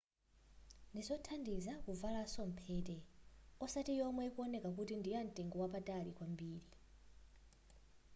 ndizothandiza kuvalaso mphete osati yomwe ikuwoneka kuti ndiyamtengo wapatali kwambiri